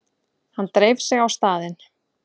Hann dreif sig á staðinn.